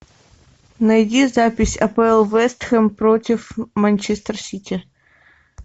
найди запись апл вест хэм против манчестер сити